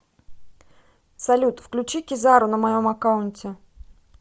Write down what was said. салют включи кизару на моем аккаунте